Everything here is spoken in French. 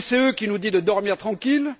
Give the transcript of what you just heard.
La BCE, qui nous dit de dormir tranquilles?